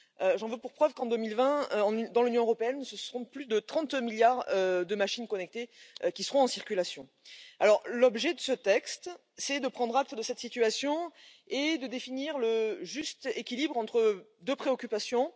J'en veux pour preuve qu'en 2020, dans l'Union européenne, plus de 30 milliards de machines connectées seront en circulation. L'objet de ce texte, c'est de prendre acte de cette situation et de définir le juste équilibre entre deux préoccupations.